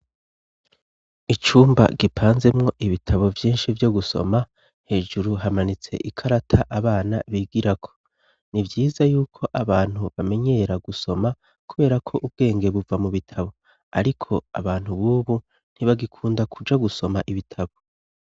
Icumba gipanzemwo ibitabo vyinshi vyo gusoma. Hejuru hamanitse ikarata abana bigirako. Nivyiza yuko abantu bamenyera gusoma kubera ko ubwenge buva mu bitabo. Ariko abantu b'ubu ntibagikunda kuja gusoma ibitabo.